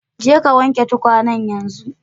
Je ka wanke tukwanen yanzu!